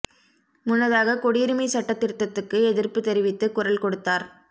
முன்னதாக குடியுரிமை சட்டத் திருத்தத்துக்கு எதிர்ப்பு தெரிவித்து குரல் கொடுத்தார்